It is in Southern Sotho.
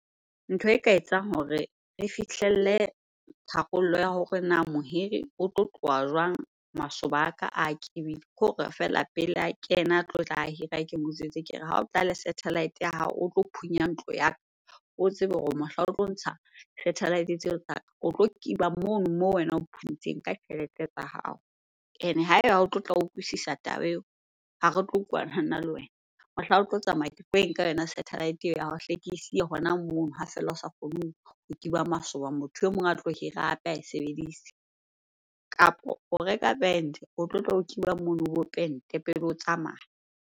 Ntho e ka etsang hore re fihlelle tharollo ya hore na mohiri o tlo tloha jwang masoba a ka a ? Kore feela pele a kena a tlotla hira, ke mo jwetse ke re ha o tla le satellite ya hao o tlo phunya ntlo ya ka, o tsebe hore mohlang o tlo ntsha tsa ka. O tlo kiba mono moo wena o phuntseng ka tjhelete tsa hao. Ene ha eba ha o tlotla o utlwisisa taba eo, ha re tlo utlwana nna le wena. Mohlang o tlo tsamaya ketlo e nka yona satellite eo ya hao hle ke siye hona mono ha feela o sa kgoneng ho kiba masoba, motho e mong a tlo hira hape ae sebedise. Kapo o reka band o tlotla o kiba mono, o bo pente pele o tsamaya.